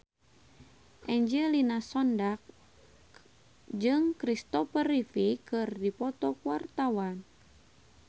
Angelina Sondakh jeung Kristopher Reeve keur dipoto ku wartawan